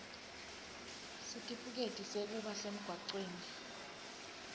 sitifiketi sekuba semgwaceni